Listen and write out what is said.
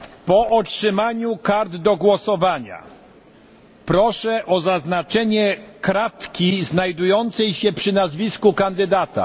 Po otrzymaniu kart do głosowania proszę o zaznaczenie kratki znajdującej się przy nazwisku kandydata.